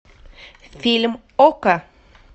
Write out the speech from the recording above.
фильм окко